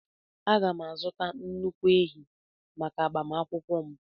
Aga m azụta nnukwu ehi maka agbamakwụkwọ m.